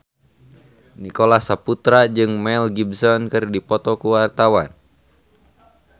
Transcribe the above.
Nicholas Saputra jeung Mel Gibson keur dipoto ku wartawan